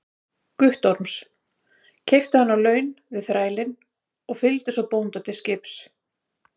Guttorms, keypti hann á laun við þrælinn og fylgdi svo bónda til skips.